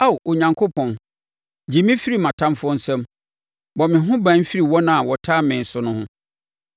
Ao Onyankopɔn, gye me firi mʼatamfoɔ nsam; bɔ me ho ban firi wɔn a wɔtaa me so no ho.